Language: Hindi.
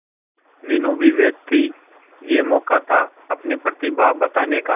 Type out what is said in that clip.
मीनू भी व्यस्त थी यह मौका था अपनी प्रतिभा को बताने का